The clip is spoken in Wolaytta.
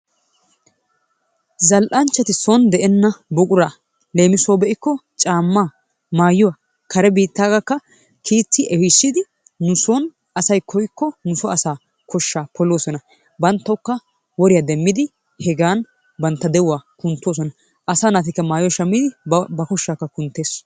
Zal"anchchati son de'enna buquraa leemisuwawu be'ikko caammaa, maayuwa, kare biittaagaakka kiitti ehiissidi nu son asay koykko nu so asaa koshshaa poloosona. Banttawukka woriya demmidi hegan bantta de'uwa kunttoosona. Asaa naatikka maayuwa shammidi ba koshshaakka kunttees.